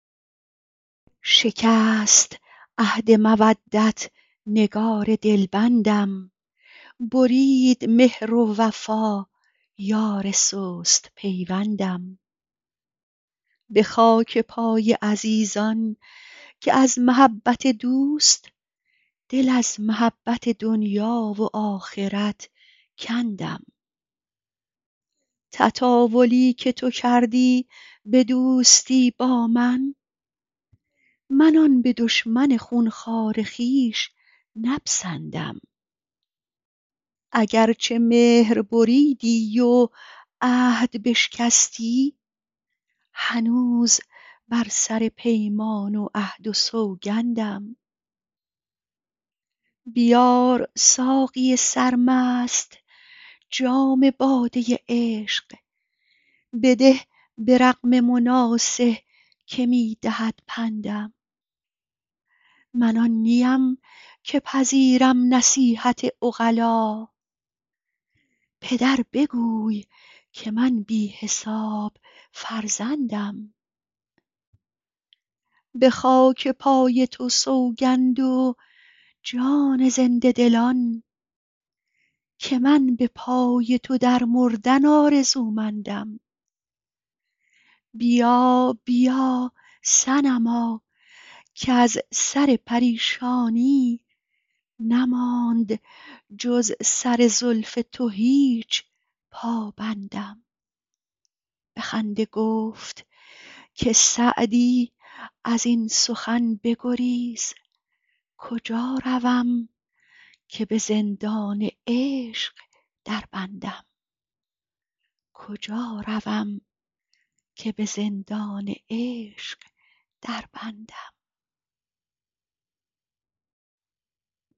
شکست عهد مودت نگار دلبندم برید مهر و وفا یار سست پیوندم به خاک پای عزیزان که از محبت دوست دل از محبت دنیا و آخرت کندم تطاولی که تو کردی به دوستی با من من آن به دشمن خون خوار خویش نپسندم اگر چه مهر بریدی و عهد بشکستی هنوز بر سر پیمان و عهد و سوگندم بیار ساقی سرمست جام باده عشق بده به رغم مناصح که می دهد پندم من آن نیم که پذیرم نصیحت عقلا پدر بگوی که من بی حساب فرزندم به خاک پای تو سوگند و جان زنده دلان که من به پای تو در مردن آرزومندم بیا بیا صنما کز سر پریشانی نماند جز سر زلف تو هیچ پابندم به خنده گفت که سعدی از این سخن بگریز کجا روم که به زندان عشق دربندم